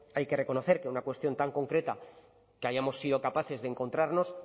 hay que reconocer que en una cuestión tan concreta que hayamos sido capaces de encontrarnos